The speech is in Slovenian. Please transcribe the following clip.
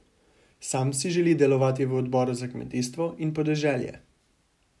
Sam si želi delovati v odboru za kmetijstvo in podeželje.